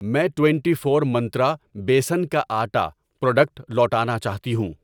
میں twenty four Myntra بیسن کا آٹا پروڈکٹ لوٹانا چاہتی ہوں